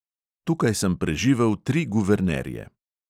Tukaj sem preživel tri guvernerje.